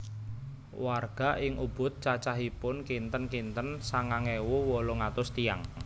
Warga ing Ubud cacahipun kinten kinten sangang ewu wolung atus tiyang